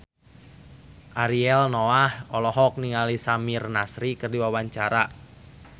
Ariel Noah olohok ningali Samir Nasri keur diwawancara